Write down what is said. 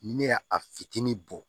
Ne y'a a fitinin bɔ